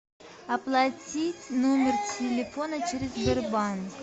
оплатить номер телефона через сбербанк